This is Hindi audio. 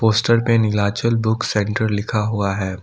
पोस्टर पे नीलाचल बुक सेंटर लिखा हुआ है।